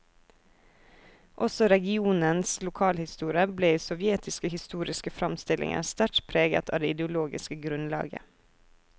Også regionens lokalhistorie ble i sovjetiske historiske framstillinger sterkt preget av det ideologiske grunnlaget.